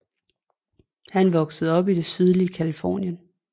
Han voksede op i det sydlige Californien